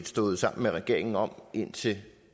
stået sammen med regeringen om indtil